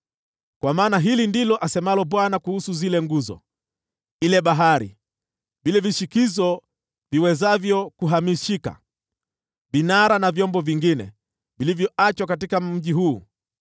Kwa maana hili ndilo asemalo Bwana Mwenye Nguvu Zote kuhusu zile nguzo, ile Bahari, vile vishikizo viwezavyo kuhamishika, vinara na vyombo vingine vilivyoachwa katika mji huu,